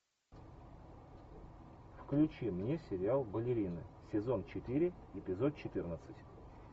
включи мне сериал балерины сезон четыре эпизод четырнадцать